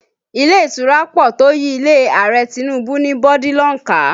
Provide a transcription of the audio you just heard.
Ilé ìtura pọ̀ tó yí ilé Ààrẹ Tinubu ní bọ́dílọ̀n ká